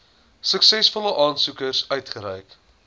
suksesvolle aansoekers uitgereik